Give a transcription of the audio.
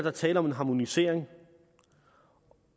er tale om en harmonisering